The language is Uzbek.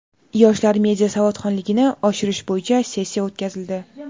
yoshlar media savodxonligini oshirish bo‘yicha sessiya o‘tkazildi.